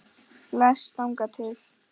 Bless þangað til.